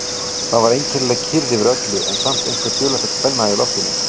Það var einkennileg kyrrð yfir öllu en samt einhver dularfull spenna í loftinu.